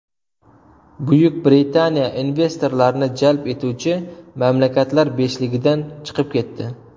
Buyuk Britaniya investorlarni jalb etuvchi mamlakatlar beshligidan chiqib ketdi.